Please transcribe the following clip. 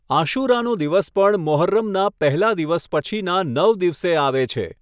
આશૂરાનો દિવસ પણ મોહર્રમના પહેલા દિવસ પછીનાં નવ દિવસે આવે છે.